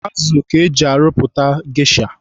Azụ ka eji arụpụta gesha.